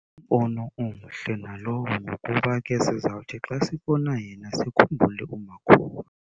Ngumbono omhle nalowo ngokuba ke sizawuthi xa sibona yena sikhumbule umakhulu.